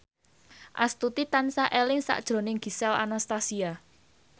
Astuti tansah eling sakjroning Gisel Anastasia